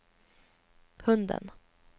hunden